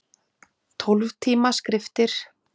Tólf tíma skriftir.